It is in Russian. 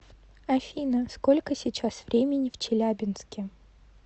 афина сколько сейчас времени в челябинске